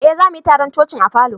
Eh, za mu yi taron coci'n a falo.